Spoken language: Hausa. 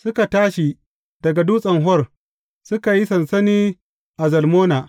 Suka tashi daga Dutsen Hor, suka yi sansani a Zalmona.